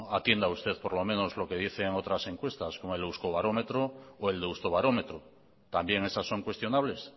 atienda usted por lo menos lo que dicen otras encuestas como el euskobarómetro o el deustobarómetro también esas son cuestionables